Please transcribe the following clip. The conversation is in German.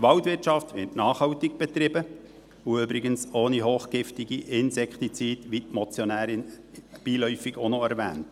Die Waldwirtschaft wird nachhaltig betrieben, und übrigens ohne hochgiftige Insektizide, wie die Motionärin beiläufig auch noch erwähnt.